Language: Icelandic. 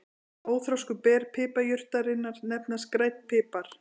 Óþroskuð ber piparjurtarinnar nefnast grænn pipar.